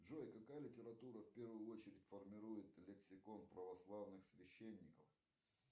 джой какая литература в первую очередь формирует лексикон православных священников